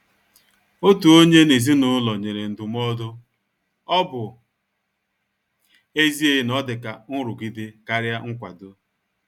Otu onye n' ezinụlọ nyere ndụmọdụ,ọ bụ ezie na o dị ka nrụgide karịa nkwado.